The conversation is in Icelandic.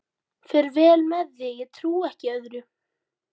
Fer vel með sig, ég trúi ekki öðru.